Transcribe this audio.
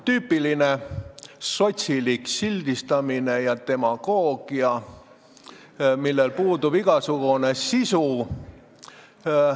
Tüüpiline sotsilik sildistamine ja demagoogia, millel puudub igasugune sisu.